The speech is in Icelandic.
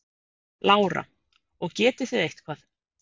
Lára: Og getið þið eitthvað?